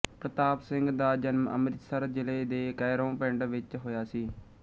ਪਰਤਾਪ ਸਿੰਘ ਦਾ ਜਨਮ ਅੰਮ੍ਰਿਤਸਰ ਜਿਲ੍ਹੇ ਦੇ ਕੈਰੋਂ ਪਿੰਡ ਵਿੱਚ ਹੋਇਆ ਸੀ